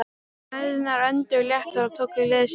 Mæðurnar önduðu léttar og tóku gleði sína aftur.